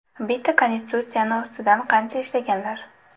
Bitta konstitutsiyani ustida qancha ishlaganlar.